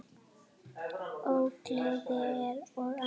Ógleði og annað.